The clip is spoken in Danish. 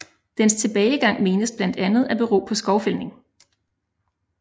Dens tilbagegang menes blandt andet at bero på skovfældning